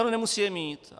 Ale nemusí je mít.